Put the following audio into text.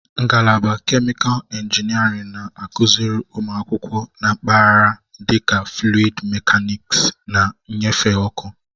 Ngalaba kemịkalụ injiniarin na-akụziri ụmụ akwụkwọ na mpaghara dịka fluịd mekaniksi na nnyefe ọkụ.